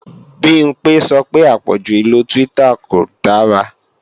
Bimpé sọ pé àpọ̀jù ìlo Twitter kò dára